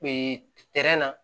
na